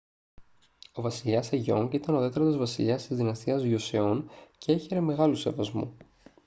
ο βασιλιάς σεγιόνγκ ήταν ο τέταρτος βασιλιάς της δυναστείας γιοσεόν και έχαιρε μεγάλου σεβασμού